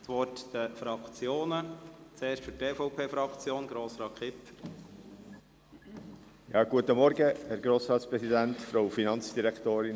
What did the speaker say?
Somit haben die Fraktionen das Wort, für die EVP-Fraktion Grossrat Kipfer.